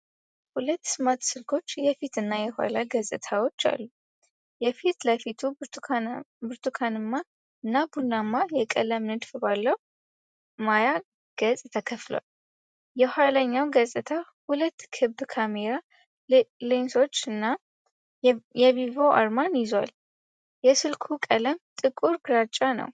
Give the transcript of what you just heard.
ሁለት ስማርት ስልኮች የፊት እና የኋላ ገፅታዎች አሉ። የፊት ለፊቱ ብርቱካንማ እና ቡናማ የቀለም ንድፍ ባለው ማያ ገጽ ተከፍቷል። የኋለኛው ገፅታ ሁለት ክብ ካሜራ ሌንሶችን እና የቪቮ አርማን ይዟል፣ የስልኩ ቀለም ጥቁር ግራጫ ነው።